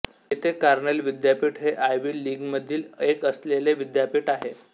येथे कॉर्नेल विद्यापीठ हे आयव्ही लीगमधील एक असलेले विद्यापीठ आहे